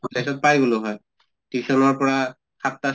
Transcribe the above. পাই গʼলো হয় tuition ৰ পৰা সাত্টা চাৰে